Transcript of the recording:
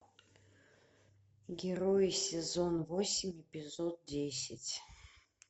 герои сезон восемь эпизод десять